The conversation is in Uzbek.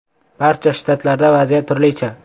“Barcha shtatlarda vaziyat turlicha.